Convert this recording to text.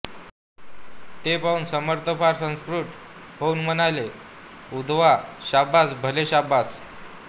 ते पाहून समर्थ फार संतुष्ट होऊन म्हणाले उद्धवा शाबास भले शाबास